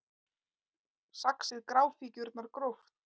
Saxið gráfíkjurnar gróft